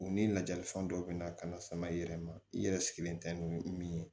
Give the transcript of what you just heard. U ni lajali fɛn dɔw bɛ na ka na sama i yɛrɛ ma i yɛrɛ sigilen tɛ ni min ye